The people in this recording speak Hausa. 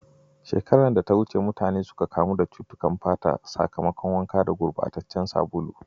A shekarar da ta wuce, jama'a suka kamu cutukan fata a sakamakon wanka gurbataccen sabulu.